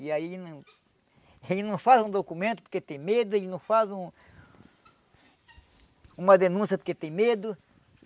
E aí, ele não faz um documento porque tem medo, ele não faz um uma denúncia porque tem medo.